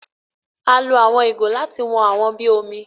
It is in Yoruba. A lo àwọn ìgò láti wón àwọn bí omí.